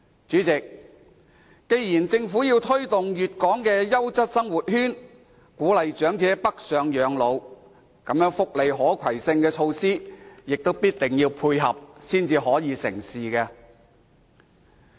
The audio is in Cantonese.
主席，既然政府要推動粵港優質生活圈，鼓勵長者北上養老，那麼，福利可攜性措施也必定要配合，方能成事。